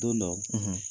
Don dɔ